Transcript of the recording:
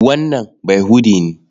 Wannan Bayahude ne.